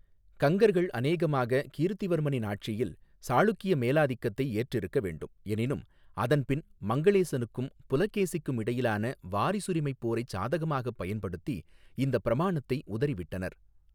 கங்கர்கள் அநேகமாக கீர்த்திவர்மனின் ஆட்சியில் சாளுக்கிய மேலாதிக்கத்தை ஏற்றிருக்க வேண்டும், எனினும் அதன்பின் மங்களேசனுக்கும் புலகேசிக்கும் இடையிலான வாரிசுரிமைப் போரைச் சாதகமாகப் பயன்படுத்தி இந்தப் பிரமாணத்தை உதறிவிட்டனர்.